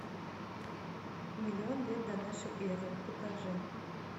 миллион лет до нашей эры покажи